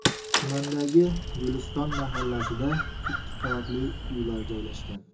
Tumandagi Guliston mahallasida ikki qavatli uylar joylashgan.